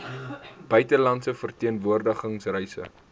buitelandse verteenwoordiging reise